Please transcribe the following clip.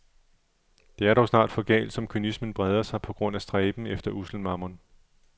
Det er dog snart for galt som kynismen breder sig på grund af stræben efter ussel mammon.